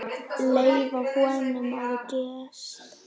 Leyfa honum að gista.